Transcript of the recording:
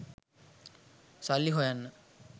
සල්ලි හොයන්න